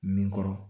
Min kɔrɔ